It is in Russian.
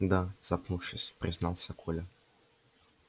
да запнувшись признался коля